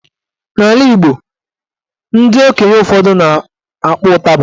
N'ala Igbo ndị okenye ụfọdụ na-akpọ ụtaba